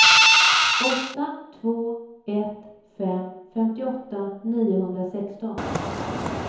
åtta två ett fem femtioåtta niohundrasexton